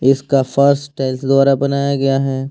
इसका फर्श टाइल्स द्वारा बनाया गया है।